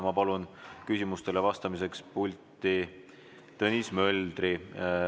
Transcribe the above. Ma palun küsimustele vastamiseks pulti Tõnis Möldri.